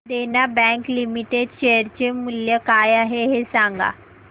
देना bank limited share चे मूल्य काय आहे हे सांगा